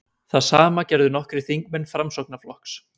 Það sama gerðu nokkrir þingmenn Framsóknarflokks